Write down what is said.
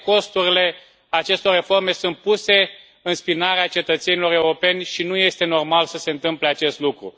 Toate costurile acestor reforme sunt puse în spinarea cetățenilor europeni și nu este normal să se întâmple acest lucru.